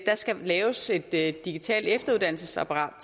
skal laves et digitalt efteruddannelsesapparat